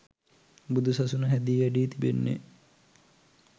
බුදුසසුන හැදී වැඩී තිබෙන්නේ